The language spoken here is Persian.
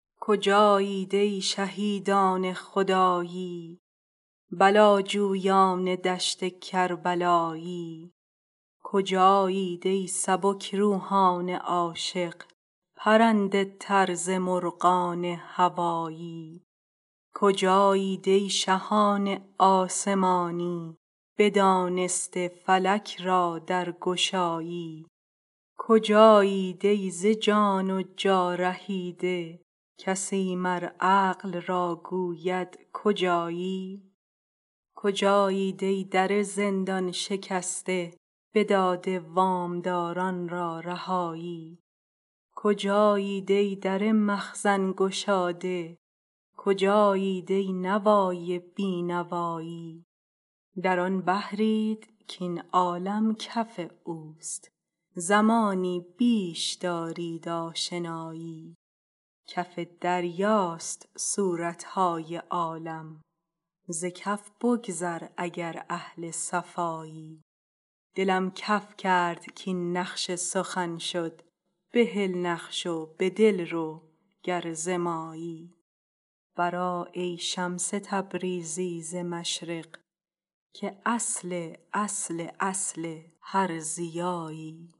کجایید ای شهیدان خدایی بلاجویان دشت کربلایی کجایید ای سبک روحان عاشق پرنده تر ز مرغان هوایی کجایید ای شهان آسمانی بدانسته فلک را درگشایی کجایید ای ز جان و جا رهیده کسی مر عقل را گوید کجایی کجایید ای در زندان شکسته بداده وام داران را رهایی کجایید ای در مخزن گشاده کجایید ای نوای بی نوایی در آن بحرید کاین عالم کف اوست زمانی بیش دارید آشنایی کف دریاست صورت های عالم ز کف بگذر اگر اهل صفایی دلم کف کرد کاین نقش سخن شد بهل نقش و به دل رو گر ز مایی برآ ای شمس تبریزی ز مشرق که اصل اصل اصل هر ضیایی